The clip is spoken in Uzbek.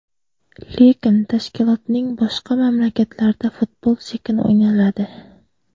Lekin tashkilotning boshqa mamlakatlarida futbol sekin o‘ynaladi.